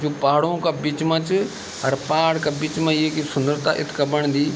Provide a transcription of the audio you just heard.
ये पहाड़ो का बीच मा च अर पहाड़ का बीच मा येक सुन्दरता इत्गा बणदी।